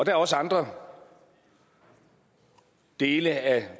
er også andre dele af